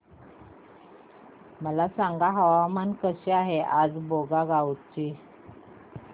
मला सांगा हवामान कसे आहे आज बोंगाईगांव चे